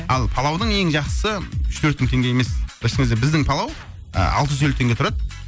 ал палаудың ең жақсысы үш төрт мың теңге емес біздің палау алты жүз елу теңге тұрады